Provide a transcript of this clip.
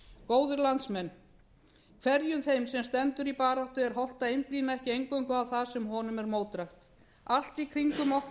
góðir landsmenn hverjum þeim sem stendur í baráttu er hollt að einblína ekki eingöngu á það sem honum er mótdrægt allt í kringum okkur